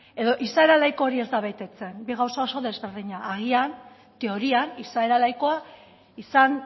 edo izaera laiko hori ez da betetzen bi gauza oso desberdinak agian teorian izaera laikoa izan